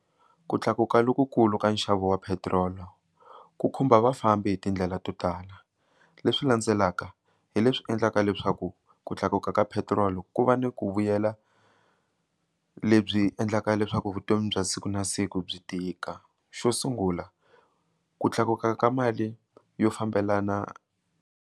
Ku tlakuka lokukulu ka nxavo wa petiroli ku khumba vafambi hi tindlela to tala leswi landzelaka hi leswi endlaka leswaku ku tlakuka ka petrol ku va ni ku vuyela lebyi endlaka leswaku vutomi bya siku na siku byi tika xo sungula ku tlakuka ka mali yo fambelana.